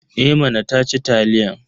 Eh mama ta ci taliyan.